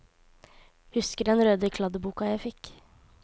Husker den røde kladdeboka jeg fikk.